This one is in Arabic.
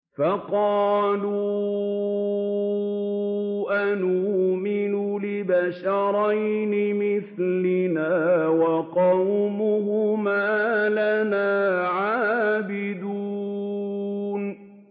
فَقَالُوا أَنُؤْمِنُ لِبَشَرَيْنِ مِثْلِنَا وَقَوْمُهُمَا لَنَا عَابِدُونَ